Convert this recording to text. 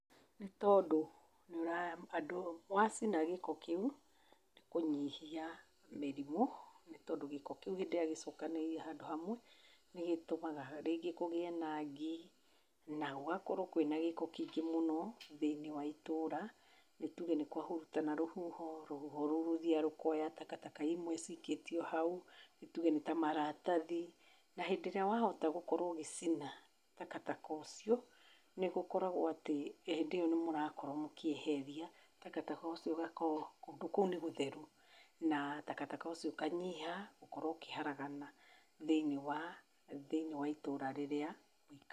Nĩ tondũ wacina gĩko kĩu, nĩ kũnyihia mĩrimũ nĩ tondũ gĩko kĩu hĩndĩ ĩrĩa gĩcokanĩrĩire handũ hamwe, nĩ gĩtũmaga rĩngĩ kugĩe na ngi na gũgakorwo kwĩna gĩko kĩingĩ mũno thĩinĩ wa itũũra, nĩ tuge nĩ kwahurutana rũhuho, rũhuho rũu rũthiaga rũkoya takataka imwe cikĩtio hau, nĩtuge nĩ ta maratathi. Na hĩndĩ ĩrĩa wahota gũkorwo ũgĩcina takataka ũcio, nĩ gũkoragwo atĩ hĩndĩ ĩyo nĩmũrakorwo mũkĩeheria takataka ũcio ũgakorwo kũndũ kũu nĩ gũtheru na takataka ũcio ũkanyiha gũkorwo ũkĩharagana thĩinĩ wa, thĩinĩ wa itũra rĩrĩa.